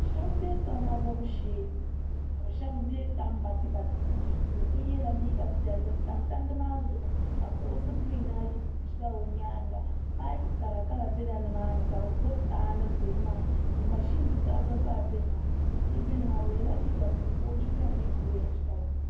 Shab n bɛ salima bobu shee ka bi shab bɛ tan batibati puuni do so yɛla liiga piɛlli n tam tandi maa zuɣu ka kuɣusi giriin ayi ʒɛla o nyaanga paipu karakara bɛ nimaani ka bi gbubi taha nim bɛ nimaani mashin tutali gba zaa bɛ numaani do so bɛ nimaani o yɛla liiga buluu ka o jinjɛm nyɛ oorɛngi kala